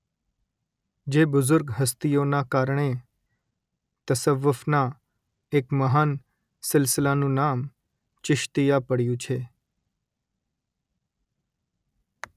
જે બુઝુર્ગ હસ્તીઓના કારણે તસવ્વુફના એક મહાન સિલસિલાનું નામ ચિશ્તીયા પડયું છે